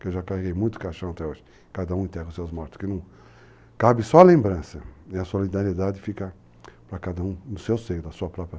que eu já carreguei muito caixão até hoje, cada um enterra os seus mortos, que não cabe só a lembrança, e a solidariedade fica para cada um no seu seio, da sua